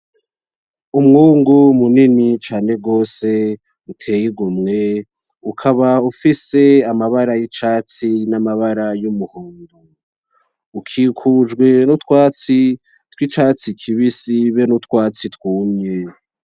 Umwungu munini cane gose uteye igumwe ukaba ufise amabara yicatsi n'amabara yumuhondo, ukikujwe n'utwatsi twicatsi kibisi nutwatsi twumye.